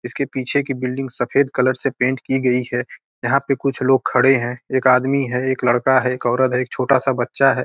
इसके पीछे की बिल्डिंग सफ़ेद कलर से पेंट की गई है यहाँ पे कुछ लोग खड़े हैं एक आदमी है एक लड़का है एक औरत है एक छोटा सा बच्चा है।